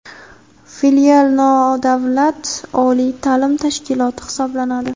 Filial nodavlat oliy ta’lim tashkiloti hisoblanadi.